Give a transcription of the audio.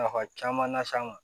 Nafa caman las'an ma